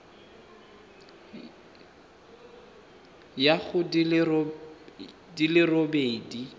ya go di le robedi